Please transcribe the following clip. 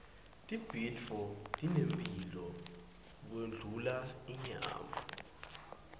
tibhidvo tinemphilo kundlula inyama